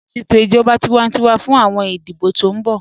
Ṣẹtò ijọba tìwántíwà fún awọn ìdíbọ̀ tó n bọ̀